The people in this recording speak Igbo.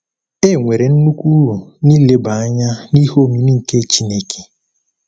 E nwere nnukwu uru n’ileba anya n’“ihe omimi nke Chineke.”